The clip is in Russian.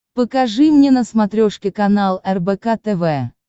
покажи мне на смотрешке канал рбк тв